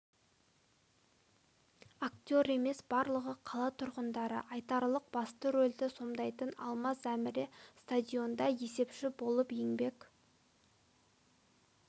актер емес барлығы қала тұрғындары айталық басты рольді сомдайтын алмаз әміре стадионда есепші болып еңбек